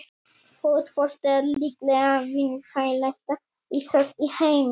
Fótbolti er líklega vinsælasta íþrótt í heimi.